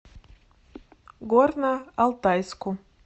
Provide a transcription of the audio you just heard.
горно алтайску